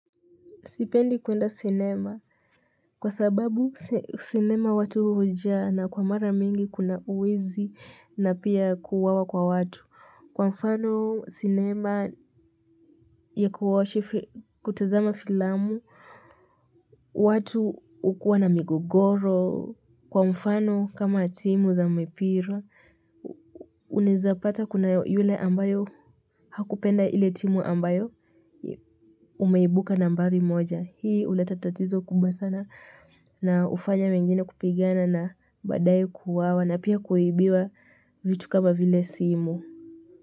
Sipendi kuenda sinema kwa sababu sinema watu hujaa na kwa mara mingi kuna uwezi na pia kuwawa kwa watu. Kwa mfano sinema ya kutazama filamu watu ukuwa na migogoro, kwa mfano kama timu za mipira, uneza pata kuna yule ambayo hakupenda ile timu ambayo umeibuka nambari moja. Hii hule tatatizo kumba sana na ufanya mengine kupigana na badae kuwawa na pia kuibiwa vitu kama vile simu.